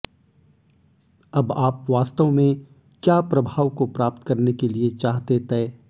अब आप वास्तव में क्या प्रभाव को प्राप्त करने के लिए चाहते तय